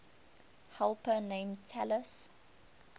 helper named talus